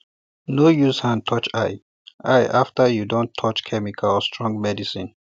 no use hand touch eye eye after you don touch chemical or strong medicine